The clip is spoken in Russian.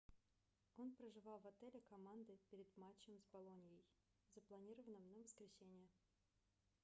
он проживал в отеле команды перед матчем с болоньей запланированным на воскресенье